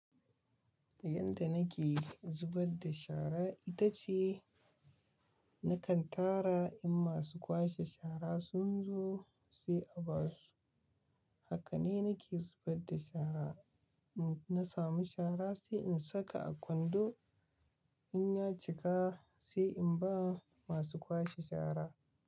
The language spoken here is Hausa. Yanda nake zubadda da shara ita ce nakan tara in masu kwashe shara sun zo sai in ba su. Haka ne nake zubar da shara. In na samu shara sai in saka a kwando in ya cika, sai in ba masu kwashe shara.